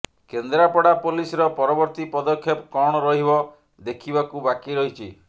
Kendrapara police ର ପରବର୍ତୀ ପଦକ୍ଷେପ କଣ ରହିବ ଦେଖିବାକୁ ବାକି ରହିଛି